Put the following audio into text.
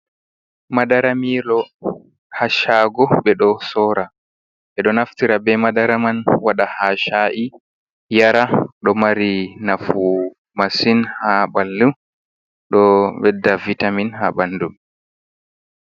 Madara milo ha chago, ɓe ɗo sora, ɓe ɗo naftira be madara man waɗa ha shayi yara, ɗo mari nafu masin ha ɓandu ɗo ɓedda vitamin ha ɓandu.